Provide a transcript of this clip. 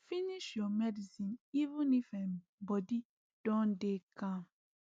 finish your medicine even if um body don dey calm